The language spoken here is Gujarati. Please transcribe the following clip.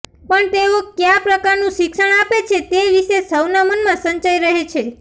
પણ તેઓ કયા પ્રકારનું શિક્ષણ આપે છે તે વિષે સૌના મનમાં સંશય રહે છે